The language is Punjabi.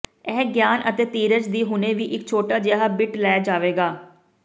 ਇਹ ਗਿਆਨ ਅਤੇ ਧੀਰਜ ਦੀ ਹੁਣੇ ਹੀ ਇੱਕ ਛੋਟਾ ਜਿਹਾ ਬਿੱਟ ਲੈ ਜਾਵੇਗਾ